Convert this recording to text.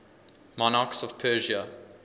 monarchs of persia